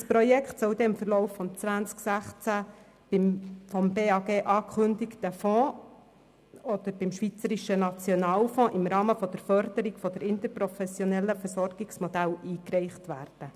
Dieses Projekt soll im Laufe des Jahres 2016 bei dem vom Bundesamt für Gesundheit (BAG) angekündigten Fonds oder beim Schweizerischen Nationalfonds (SNF) im Rahmen der Förderung der interprofessionellen Versorgungsmodelle eingereicht werden.